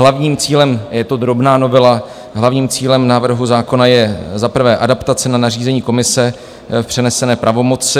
Hlavním cílem - je to drobná novela - hlavním cílem návrhu zákona je za prvé adaptace na nařízení Komise v přenesené pravomoci.